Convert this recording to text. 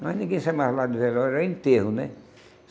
Mas ninguém sai mais lá do relógio, é enterro, né?